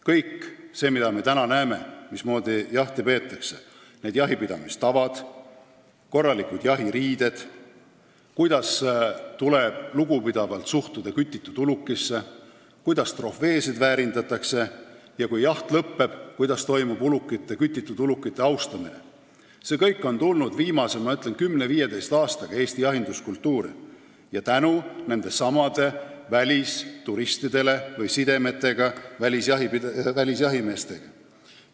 Kõik see, mida me praegu näeme – mismoodi jahti peetakse, jahipidamistavad, korralikud jahiriided, lugupidav suhtumine kütitud ulukisse, trofeede väärindamine ja kütitud ulukile austuse avaldamine, kui jaht lõpeb –, on viimase 10–15 aastaga Eesti jahinduskultuuri tulnud tänu nendelesamadele välisturistidele või sidemetele välisjahimeestega.